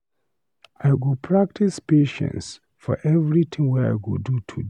I go practice patience for every thing wey I go do today.